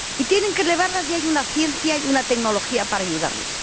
Y hay que elevarlas y hay una ciencia y una tecnología para ayudarlas.